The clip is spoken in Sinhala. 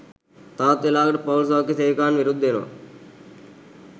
තවත් වෙලාවකට පවුල් සෞඛ්‍ය සේවිකාවන් විරුද්ධ වෙනවා